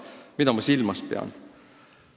Mida ma silmas pean?